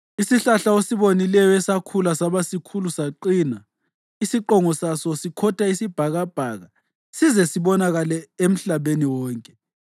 Isihlahla osibonileyo, esakhula saba sikhulu saqina, isiqongo saso sikhotha isibhakabhaka size sibonakale emhlabeni wonke,